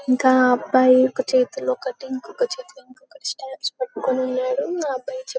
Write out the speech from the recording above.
ఇంకా ఆ అబ్బాయి ఒక చేతిలో కట్టింగ్ ఇంకొక చేతిలో క్రిస్టల్స్ ని పట్టుకొని ఉన్నాడు ఆ అబ్బాయి--